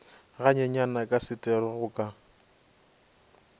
ganyenyane ka setero go ka